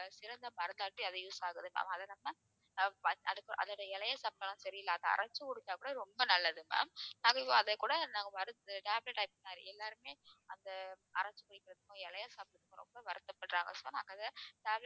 சிறந்த மருந்தாக அது use ஆகுது ma'am அதை நம்ம அதோட இலையை சாப்பிட்டாலும் சரி இல்ல அதை அரைச்சு குடிச்சாக்கூட ரொம்ப நல்லது ma'am அதைக்கூட நாங்க வறுத்து மாதிரி எல்லாருமே அந்த அரைச்சு வெக்கிற வில்வ இலையை சாப்பிட ரொம்ப வருத்தப்படுறாங்க so நாங்க அதை tablet